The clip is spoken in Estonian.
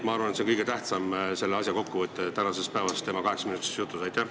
Ma arvan, et see oli tema kaheksaminutilises jutus kõige tähtsam, see oli selle asja kokkuvõte.